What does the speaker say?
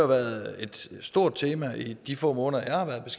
været et stort tema i de få måneder